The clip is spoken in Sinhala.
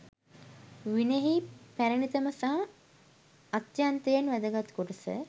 විනයෙහි පැරැණිතම සහ අත්‍යන්තයෙන් වැදගත් කොටස